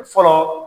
Fɔlɔ